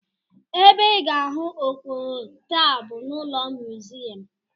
Ebe ị ga-ahụ okpogho taa bụ n'ụlọ museum